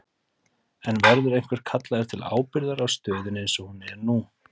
En verður einhver kallaður til ábyrgðar á stöðunni eins og hún er nú?